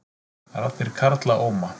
Raddir karla óma